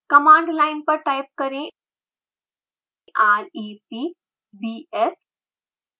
command line पर type करें rep bs